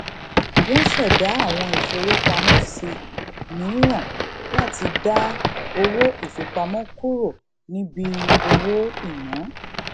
wọn ṣẹdá àwọn ìfowópamọ sí mìíràn láti dá owó ìfipamọ kúrò níbi owó ìná